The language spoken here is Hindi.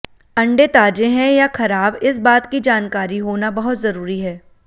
अंडे ताजे हैं या खराब इस बात की जानकारी होना बहुत जरूरी है